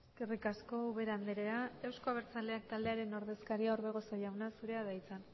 eskerrik asko ubera andrea euzko abertzaleak taldearen ordezkaria orbegozo jauna zurea da hitza